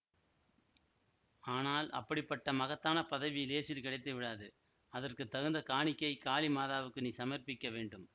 ஆனால் அப்படிப்பட்ட மகத்தான பதவி லேசில் கிடைத்துவிடாது அதற்கு தகுந்த காணிக்கை காளி மாதாவுக்கு நீ சமர்ப்பிக்க வேண்டும்